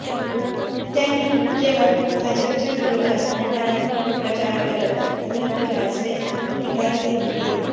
त्यांनी केवळ भाजपच्या विरोधात नकारात्मक प्रचारावरच भर दिला असल्याची टीकाहीं त्यांनी केली